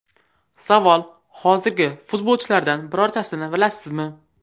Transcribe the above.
Savol: Hozirgi futbolchilardan birortasini bilasizmi?